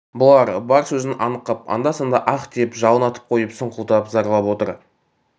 бұлар бар сөзін анық қып анда-санда аһ деп жалын атып қойып сұңқылдап зарлап отыр